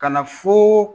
Ka na fo